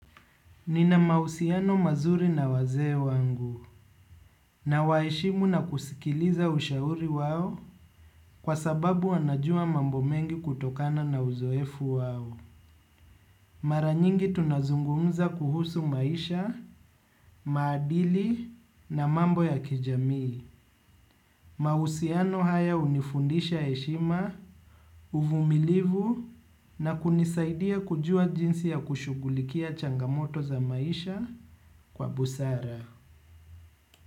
Nina mahusiano mazuri na wazee wangu nawaheshimu na kusikiliza ushauri wao kwa sababu wanajua mambo mengi kutokana na uzoefu wao. Mara nyingi tunazungumza kuhusu maisha, maadili na mambo ya kijamii. Mahusiano haya hunifundisha heshima, uvumilivu na kunisaidia kujua jinsi ya kushughulikia changamoto za maisha kwa busara.